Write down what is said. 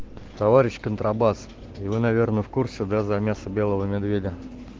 товарищ контрабас и вы наверное в курсе да за мясо белого медведя